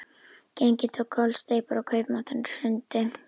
Gengið tók kollsteypur og kaupmátturinn hrundi.